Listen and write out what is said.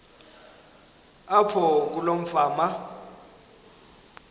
apho kuloo fama